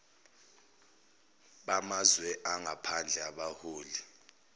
bamazwe angaphandle abaholi